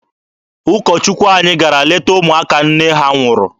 Ụkọ Chukwu anyị gara leta ụmụaka nne ha nwụrụ.